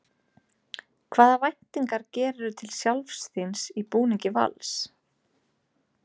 Hvaða væntingar gerirðu til sjálfs þíns í búningi Vals?